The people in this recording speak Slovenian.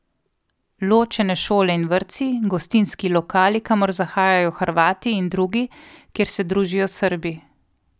Ločene šole in vrtci, gostinski lokali, kamor zahajajo Hrvati, in drugi, kjer se družijo Srbi ...